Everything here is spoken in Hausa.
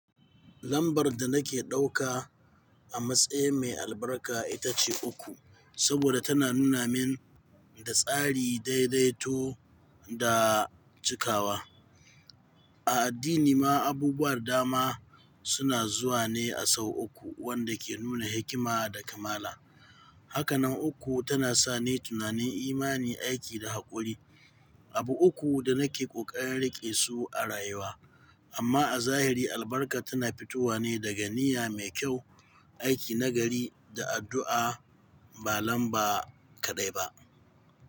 Lambar da nake ɗauka a matsayin mai albarka ita ce uku, saboda tana nuna mun da tsari, daidaito da cikawa. A addini ma abubuwar dama suna zuwa ne a sau uku, wanda ke nuna hikima da kamala. Hakanan uku tana sa ni tunanin imani, aiki da haƙuri, abu uku da nake ƙoƙarin riƙe su a rayuwa. Amma a zahiri albarka tana fitowa ne daga niyya mai kyau, aiki nagari da addu'a, ba lamba kaɗai ba.